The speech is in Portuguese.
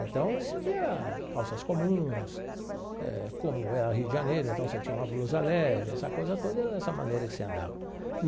Então, você via calças comuns, eh como era Rio de Janeiro, então você tinha uma blusa leve, essa coisa toda era dessa maneira que você andava.